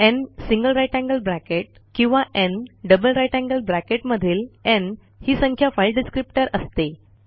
न् GT किंवा न् GT GT मधील न् ही संख्या फाइल डिस्क्रिप्टर असते